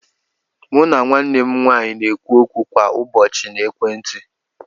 Mụ na nwanne m nwaanyị n'okwu kwa ụbọchị na ekwentị.